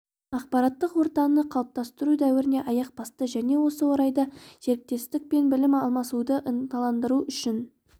ақпараттық ортаны қалыптастыру дәуіріне аяқ басты және осы орайда серіктестік пен білім алмасуды ынталандыру үшін